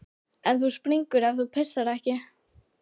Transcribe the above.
En þú springur ef þú pissar ekki.